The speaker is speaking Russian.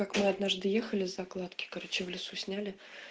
как мы однажды ехали закладки короче в лесу сняли